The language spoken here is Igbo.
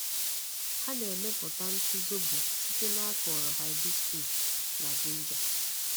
Ha na-emepụta ntụ zobo site n’akọrọ hibiscus na ginger.